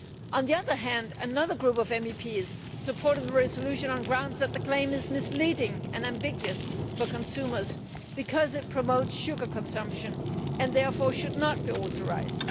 On the other hand, another group of MEPs supported the resolution on the grounds that the claim is misleading and ambiguous for consumers because it promotes sugar consumption and therefore should not be authorised.